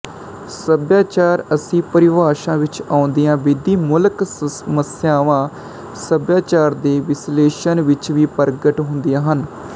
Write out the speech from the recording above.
ਸਭਿਆਚਾਰ ਅਸੀਂ ਪਰਿਭਾਸ਼ਾ ਵਿੱਚ ਆਉਂਦੀਆਂ ਵਿਧੀਮੂਲਕ ਸਮੱਸਿਆਵਾਂ ਸਭਿਆਚਾਰ ਦੇ ਵਿਸ਼ਲੇਸ਼ਣ ਵਿੱਚ ਵੀ ਪ੍ਰਗਟ ਹੁੰਦੀਆਂ ਹਨ